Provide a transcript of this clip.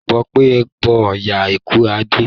Bó pẹ́ bó yá ikú á dé